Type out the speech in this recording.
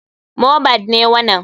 Mohbad ne wanan.